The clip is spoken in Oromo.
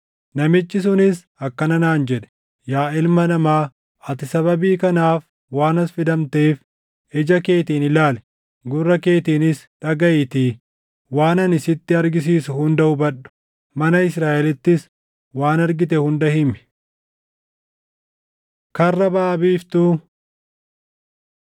Namichi sunis akkana naan jedhe; “Yaa ilma namaa, ati sababii kanaaf waan as fidamteef, ija keetiin ilaali; gurra keetiinis dhagaʼiitii waan ani sitti argisiisu hunda hubadhu. Mana Israaʼelittis waan argite hunda himi.” Karra Baʼa Biiftuu